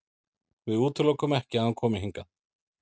Við útilokum ekki að hann komi hingað.